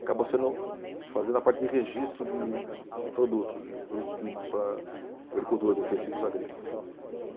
Acabou sendo Fazendo a parte de registro de de, de produtos, de produtos químicos para agricultura, defensivos agrícolas.